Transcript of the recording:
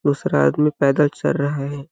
दूसरा आदमी पैदल चल रहा है।